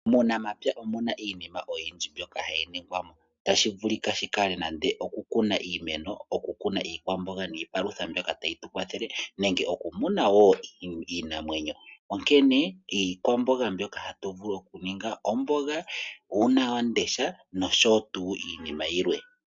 Muunamapya omuna iinima oyindji mbyoka hayi ningwamo, tashi vulika shi kale nande oku kuna iimeno. Oku kuna iikwamboga niipalutha mbyoka tayi tu kwathele, nenge oku muna wo iinamwenyo. Onkene iikwamboga mbyoka hatu vulu oku ninga omboga, uunawamundesha nosho tuu iinima yilwe.